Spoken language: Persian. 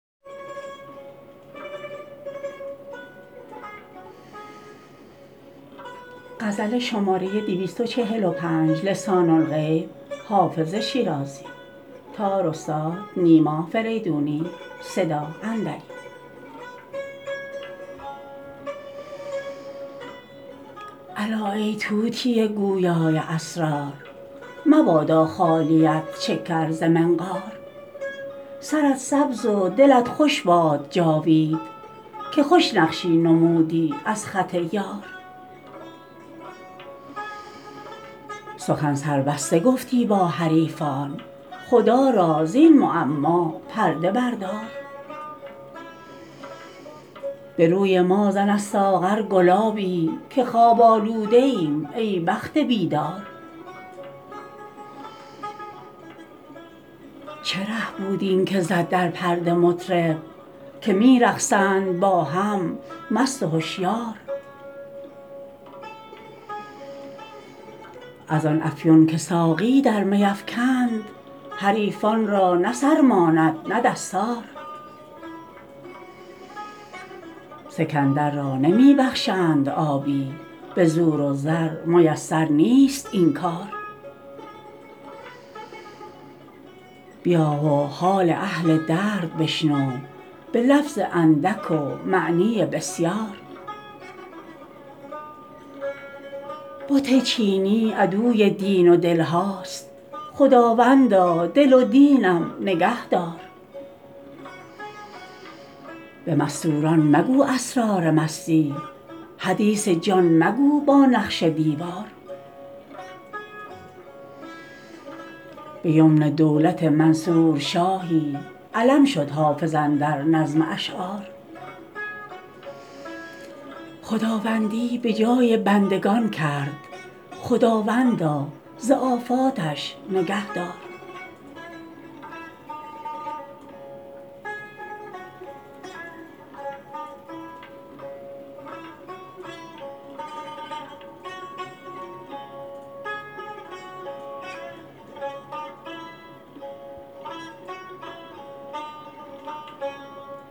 الا ای طوطی گویا ی اسرار مبادا خالیت شکر ز منقار سرت سبز و دلت خوش باد جاوید که خوش نقشی نمودی از خط یار سخن سربسته گفتی با حریفان خدا را زین معما پرده بردار به روی ما زن از ساغر گلابی که خواب آلوده ایم ای بخت بیدار چه ره بود این که زد در پرده مطرب که می رقصند با هم مست و هشیار از آن افیون که ساقی در می افکند حریفان را نه سر ماند نه دستار سکندر را نمی بخشند آبی به زور و زر میسر نیست این کار بیا و حال اهل درد بشنو به لفظ اندک و معنی بسیار بت چینی عدوی دین و دل هاست خداوندا دل و دینم نگه دار به مستور ان مگو اسرار مستی حدیث جان مگو با نقش دیوار به یمن دولت منصور شاهی علم شد حافظ اندر نظم اشعار خداوندی به جای بندگان کرد خداوندا ز آفاتش نگه دار